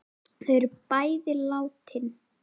Þau eru bæði látin.